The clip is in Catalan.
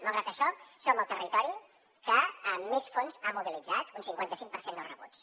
malgrat això som el territori que més fons ha mobilitzat un cinquanta cinc per cent dels rebuts